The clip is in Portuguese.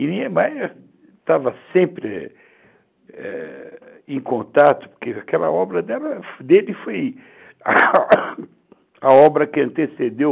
E Niemeyer estava sempre é... em contato, porque aquela obra dele foi a obra que antecedeu